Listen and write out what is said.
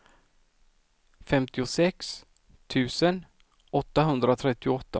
femtiosex tusen åttahundratrettioåtta